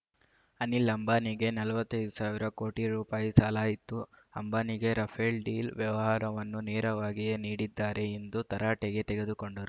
ಅನಿಲ್ ಅಂಬಾನಿಗೆ ನಲವತ್ತೈದು ಸಾವಿರ ಕೋಟಿ ರೂಪಾಯಿ ಸಾಲ ಇತ್ತು ಅಂಬಾನಿಗೆ ರಫೇಲ್ ಡೀಲ್ ವ್ಯವಹಾರವನ್ನು ನೆರವಾಗಿಯೇ ನೀಡಿದ್ದಾರೆ ಎಂದು ತರಾಟೆಗೆ ತೆಗೆದು ಕೊಂಡರು